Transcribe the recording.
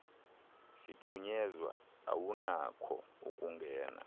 siphunyezwe awunakho ukungena